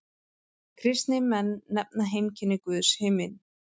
Kristnir menn nefna heimkynni Guðs himin.